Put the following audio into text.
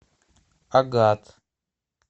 агат